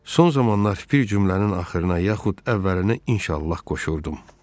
Son zamanlar bir cümlənin axırına yaxud əvvəlinə inşallah qoşurdum.